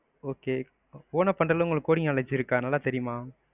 okay own ஆ பண்றஅளவுக்கு உங்களுக்கு coding knowledge இருக்கா, தெரியுமா?